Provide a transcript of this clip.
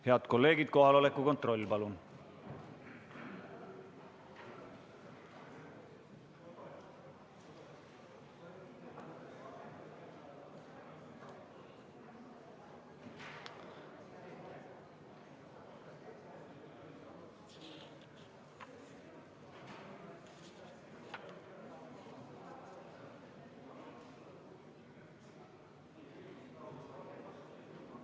Head kolleegid, kohaloleku kontroll, palun!